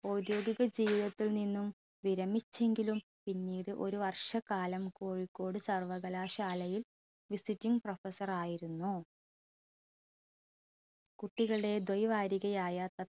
ഔദ്യോഗിക ജീവിതത്തിൽ നിന്നും വിരമിച്ചെങ്കിലും പിന്നീട് ഒരു വർഷക്കാലം കോഴിക്കോട് സർവകലാശാലയിൽ visiting professor ആയിരുന്നു കുട്ടികളെ ദ്വ്യ വാരികയായ